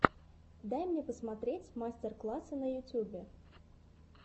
дай мне посмотреть мастер классы на ютьюбе